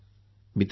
मित्रांनो